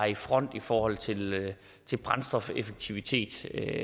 i front i forhold til til brændstofeffektivitet det